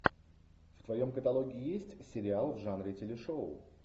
в твоем каталоге есть сериал в жанре телешоу